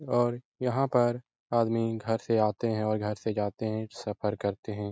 और यहाँ पर आदमी घर से आते हैं और घर से जाते हैं सफर करते हैं।